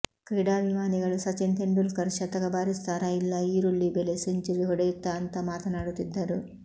ಕ್ರೀಡಾಭಿಮಾನಿಗಳು ಸಚಿನ್ ತೆಂಡೂಲ್ಕರ್ ಶತಕ ಬಾರಿಸುತ್ತಾರಾ ಇಲ್ಲಾ ಈರುಳ್ಳಿ ಬೆಲೆ ಸೆಂಚುರಿ ಹೊಡೆಯುತ್ತಾ ಅಂತಾ ಮಾತನಾಡುತ್ತಿದ್ದರು